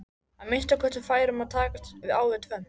Að minnsta kosti fær um að takast á við tvennt.